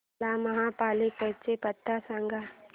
मला महापालिकेचा पत्ता सांग